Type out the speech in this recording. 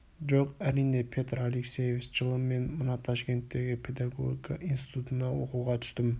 жоқ әрине петр алексеевич жылы мен мына ташкенттегі педагогика институтына оқуға түстім